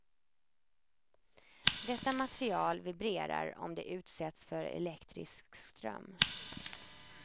Detta material vibrerar om det utsätts för elektrisk ström.